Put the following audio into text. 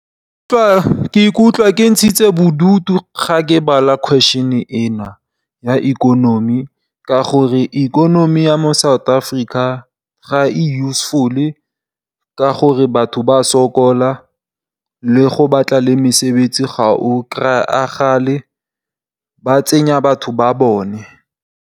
Ke ikutlwa ke ntshitse bodutu ga ke bala question e ya ikonomi ka gore, ikonomi ya mo South Africa ga e useful. Ka gonne batho ba sokola le go batla le mesebetsi ga o kry-agale ba tsenya batho ba bone.